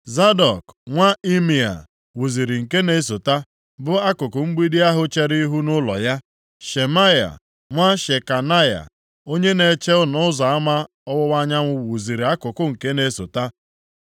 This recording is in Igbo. Zadọk nwa Imea wuziri nke na-esota, bu akụkụ mgbidi ahụ chere ihu nʼụlọ ya. Shemaya nwa Shekanaya onye na-eche Ọnụ Ụzọ Ama Ọwụwa Anyanwụ wuziri akụkụ nke na-esota.